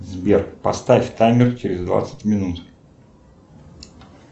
сбер поставь таймер через двадцать минут